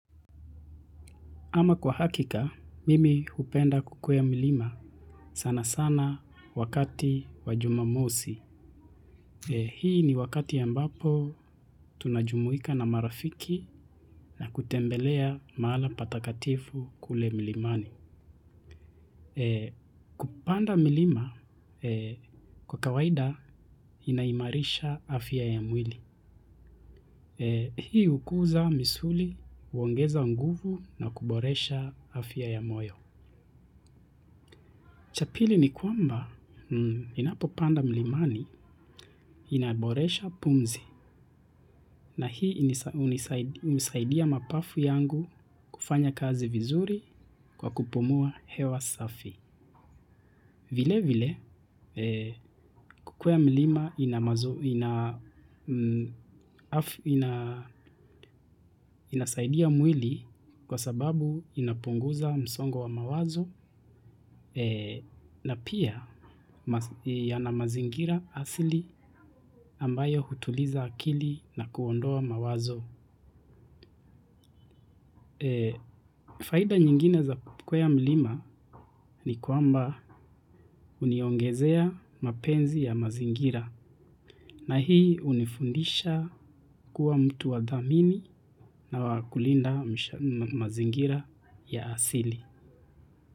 Ama kwa hakika, mimi hupenda kukwea milima sana sana wakati wa jumamosi. Hii ni wakati ambapo tunajumuika na marafiki na kutembelea mahala pa takatifu kule mlimani. Kupanda milima kwa kawaida inaimarisha afya ya mwili. Hii hukuza misuli, huongeza nguvu na kuboresha afya ya moyo. Cha pili ni kwamba ninapopanda mlimani inaboresha pumzi na hii hunisaidia mapafu yangu kufanya kazi vizuri kwa kupumua hewa safi. Vile vile, kukwea mlima ina inasaidia mwili kwa sababu inapunguza msongo wa mawazo na pia yana mazingira asili ambayo hutuliza akili na kuondoa mawazo. Faida nyingine za kukwea milima ni kwamba huniongezea mapenzi ya mazingira na hii hunifundisha kuwa mtu wa dhamini na wa kulinda mazingira ya asili.